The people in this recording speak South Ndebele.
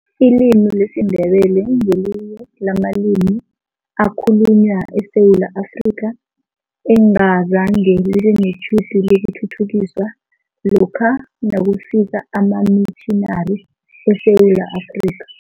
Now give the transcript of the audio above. Ilimi lesiNdebele ngelinye lamalimi ekhalunywa eSewula Afrika, engazange libe netjhudu lokuthuthukiswa lokha nakufika amamitjhinari eSewula Afrika.